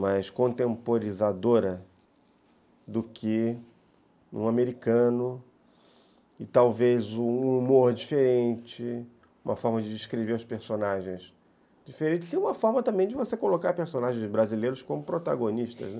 mais contemporizadora do que um americano, e talvez um humor diferente, uma forma de descrever os personagens diferente, e uma forma também de você colocar personagens brasileiros como protagonistas, né.